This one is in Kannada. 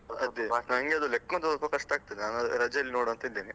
ಅದೆ, ನನ್ಗೆ ಅದು ಲೆಕ್ಕೊಂದು ಸ್ವಲ್ಪ ಕಷ್ಟ ಆಗ್ತದೆ, ರಜೆಯಲ್ಲಿ ನೋಡುವಾಂತ ಇದ್ದೇನೆ.